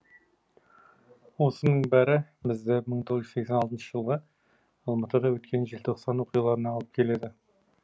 осының бәрі бізді мың тоғыз жүз сексен алтыншы жылғы алматыда өткен желтоқсан оқиғаларына алып келеді